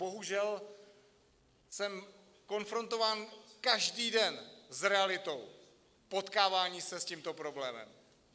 Bohužel jsem konfrontován každý den s realitou potkávání se s tímto problémem.